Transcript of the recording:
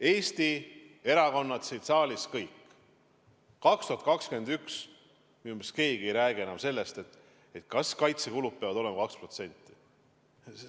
Eesti erakonnad siin saalis kõik – minu meelest keegi ei räägi enam sellest, kas 2021. aastal kaitsekulud peavad olema 2%.